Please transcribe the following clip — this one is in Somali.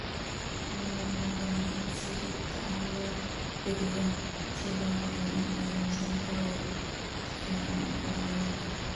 Lo'da lo'da waa in si joogto ah loo fiiriyaa si loo hubiyo in ay miisaankoodu si fiican u korayaan.